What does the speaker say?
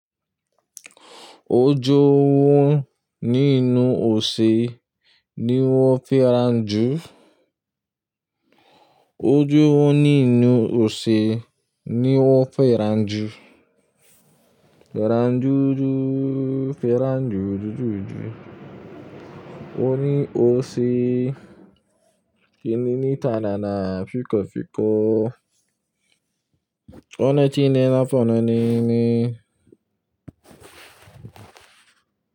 Ojo ohun ninu ose ni won feran ju, ounje wo ninu ounje ni o feran ju. Feran ju ju, feran ju ju ju ju. O ni ose, kini nitana ni afikofiko. O ni ti nina fun ni ni ni.